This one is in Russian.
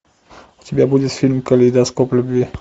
у тебя будет фильм калейдоскоп любви